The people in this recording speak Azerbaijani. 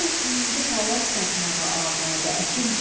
Ol indi palaz satmağa amadə, əkinçi.